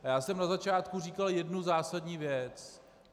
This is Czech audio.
A já jsem na začátku říkal jednu zásadní věc: